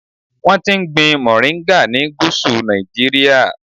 Wọ́n ti ń gbin mòríńgà ni Gúsù Nàìjíríà.